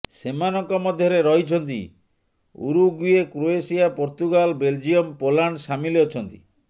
ସେମାନଙ୍କ ମଧ୍ୟରେ ରହିଛନ୍ତି Uruguay Croatia Portugal Belgium Poland ସାମିଲ ଅଛନ୍ତି